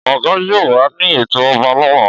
Ọgà yóò wà ní ètò ọba lọ́la.